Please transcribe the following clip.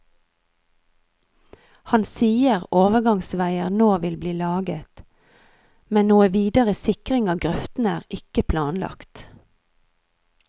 Han sier overgangsveier nå vil bli laget, men noen videre sikring av grøftene er ikke planlagt.